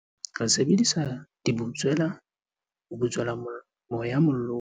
Re sebedisa dibutswela ho butswela moya mollong.